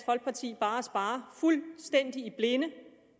folkeparti bare sparer fuldstændig i blinde